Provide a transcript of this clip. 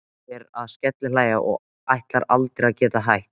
Dísa fer að skellihlæja og ætlar aldrei að geta hætt.